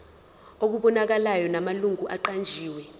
okubonakalayo namalungu aqanjiwe